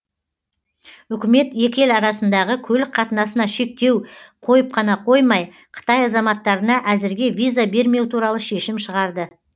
үкімет екі ел арасындағы көлік қатынасына шектеу қойып қана қоймай қытай азаматтарына әзірге виза бермеу туралы шешім шығарды